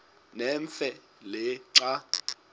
nemfe le xa